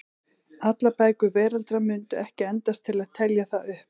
Allar bækur veraldar mundu ekki endast til að telja það upp.